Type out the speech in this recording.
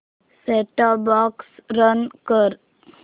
set top box run कर